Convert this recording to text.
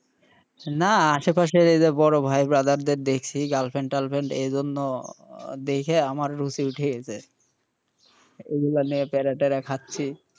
না আশে পাশে এই যে বড়ো ভাই brother দের দেখছি girlfriend টালফ্রেন্ড এ জন্য দেইখা আমার রুচি উঠে গেছে এগুলা নিয়ে প্যারা ট্যারা খাচ্ছি,